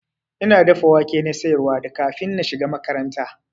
Ina dafa wake na siyarwa da kafin na shiga makaranta.